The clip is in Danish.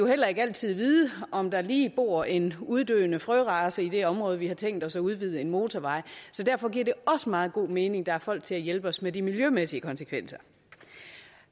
heller ikke altid vide om der lige bor en uddøende frørace i et område hvor vi har tænkt os at udvide en motorvej så derfor giver det også meget god mening at der er folk til at hjælpe os med de miljømæssige konsekvenser